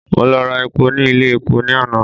Mo lọ ra epo ní ilé epo ní àná.